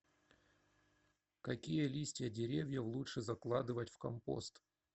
какие листья деревьев лучше закладывать в компост